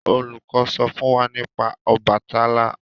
olùkó sọ fún wá nípa Obàtálá.